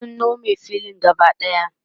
sun Nome filin gaba ɗaya